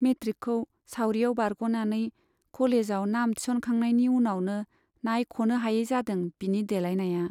मेट्रिकखौ सावरियाव बारग'नानै कलेजाव नाम थिसनखांनायनि उनावनो नाइख'नो हायै जादों बिनि देलााइनाया।